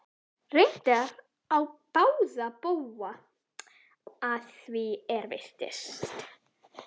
Reyndar á báða bóga að því er virtist.